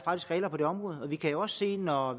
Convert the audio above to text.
regler på det område vi kan jo også se når